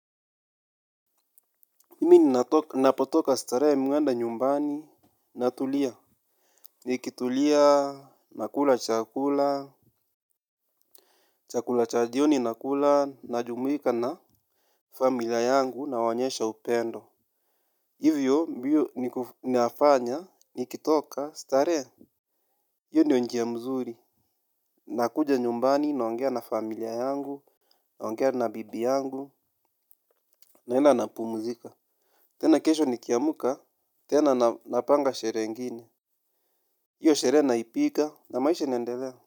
Mimi ninapotoka starehe mi huenda nyumbani, natulia. Nikitulia nakula chakula, chakula cha jioni nakula, najumuika na familia yangu nawaonyesha upendo. Hivyo ndiyo nafanya, nikitoka starehe, hiyo ndio njia mzuri. Nakuja nyumbani naongea na familia yangu, naongea na bibi yangu, naenda napumuzika. Tena kesho nikiamuka, tena napanga sherehe ingine. Hiyo sherehe naipita na maisha inaendele.